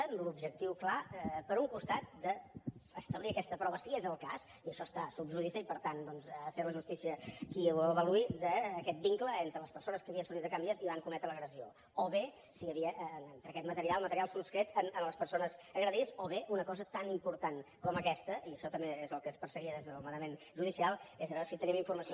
amb l’objectiu clar per un costat d’establir aquesta prova si és el cas i això està sub judice i per tant ha de ser la justícia qui ho avaluï d’aquest vincle entre les persones que havien sortit de can vies i van cometre l’agressió o bé si hi havia entre aquest material material sostret a les persones agredides o bé una cosa tan important com aquesta i això també és el que es perseguia des del manament judicial és veure si tenim informació